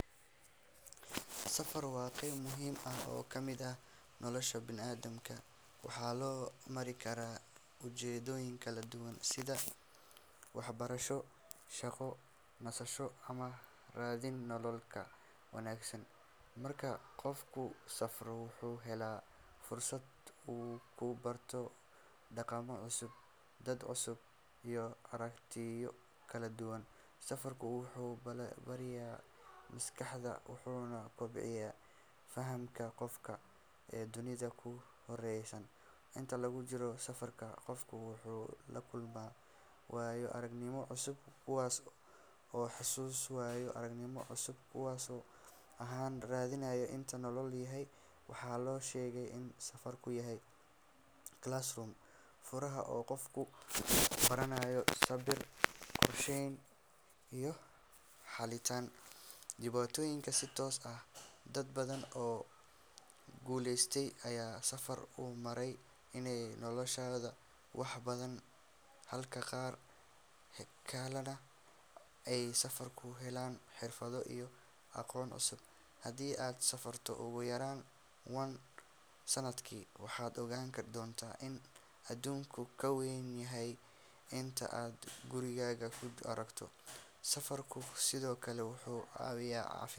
Safar waa qayb muhiim ah oo ka mid ah nolosha bani’aadamka, waxaana loo mari karaa ujeeddooyin kala duwan sida waxbarasho, shaqo, nasasho, ama raadin nolol ka wanaagsan. Marka qofku safro, wuxuu helaa fursad uu ku barto dhaqamo cusub, dad cusub, iyo aragtiyo kala duwan. Safarku wuxuu ballaariyaa maskaxda wuxuuna kobciyaa fahamka qofka ee dunida ku hareeraysan. Inta lagu jiro safarka, qofku wuxuu la kulmaa waayo-aragnimooyin cusub kuwaas oo xasuus ahaan u reebma inta uu nool yahay. Waxaa la sheegaa in safarku yahay classroom furan oo qofku ka baranayo sabir, qorsheyn, iyo xalinta dhibaatooyinka si toos ah. Dad badan oo guulaystay ayaa safar u maray inay noloshooda wax ka beddelaan, halka qaar kalena ay safar ku heleen xirfado iyo aqoon cusub. Haddii aad safarto ugu yaraan once sanadkii, waxaad ogaan doontaa in adduunku ka weyn yahay inta aad gurigaaga ku aragto. Safarku sidoo kale wuxuu caawiyaa caafimaadka.